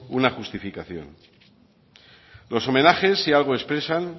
una justificación los homenajes si algo expresan